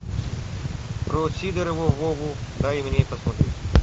про сидорова вову дай мне посмотреть